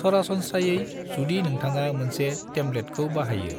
सरासनस्रायै, जुदि नोंथाङा मोनसे टेम्पलेटखौ बाहायो,